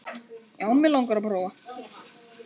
Já, mig langar að prófa.